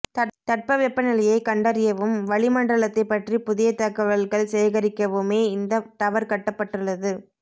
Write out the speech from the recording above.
தட்ப வெப்ப நிலையை கண்டறியவும் வலி மண்டலத்தை பற்றி புதிய தகவல்கள் சேகரிக்கவுமே இந்த டவர் கட்டப்பட்டுள்ளது